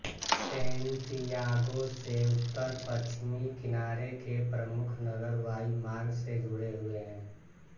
Santiago से उत्तर पश्चिमी किनारे के प्रमुख नगर वायुमार्ग से जुड़े हुए हैं